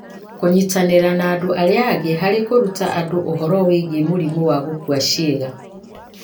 kũnyitanĩra na andũ arĩa angĩ harĩ kũruta andũ ũhoro wĩgiĩ mũrimũ wa gũkua ciĩga.